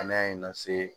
An y'a ye n na se